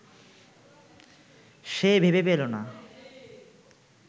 সে ভেবে পেল না